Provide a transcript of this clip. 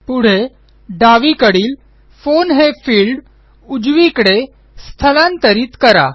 पुढे डावीकडील फोन हे फिल्ड उजवीकडे स्थलांतरित करा